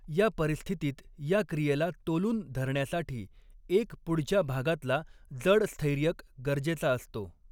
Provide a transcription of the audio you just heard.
या परिस्थितीत या क्रियेला तोलून धरण्यासाठी एक पुढच्या भागातला जड स्थैर्यक गरजेचा असतो.